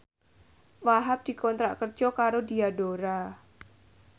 Wahhab dikontrak kerja karo Diadora